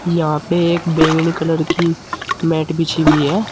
यहां पे एक बैंगनी कलर की मैट बिछी हुई है।